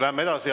Läheme edasi.